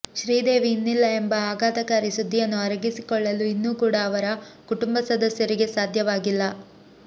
ಶ್ರೀದೇವಿ ಇನ್ನಿಲ್ಲ ಎಂಬ ಅಘಾತಕಾರಿ ಸುದ್ದಿಯನ್ನು ಅರಗಿಸಿಕೊಳ್ಳಲು ಇನ್ನೂ ಕೂಡ ಅವರ ಕುಟುಂಬ ಸದಸ್ಯರಿಗೆ ಸಾಧ್ಯವಾಗಿಲ್ಲ